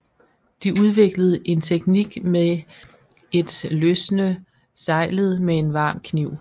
De udviklede en teknik med et løsne seglet med en varm kniv